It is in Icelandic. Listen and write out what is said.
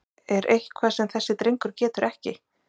Er eitthvað sem þessi drengur getur ekki?!